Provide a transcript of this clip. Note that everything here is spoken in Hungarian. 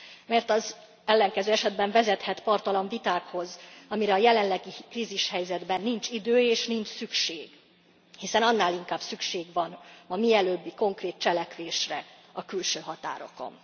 Mert az ellenkező esetben vezethet parttalan vitákhoz, amire a jelenlegi krízishelyzetben nincs idő és nincs szükség, hiszen annál inkább szükség van a mielőbbi konkrét cselekvésre a külső határokon.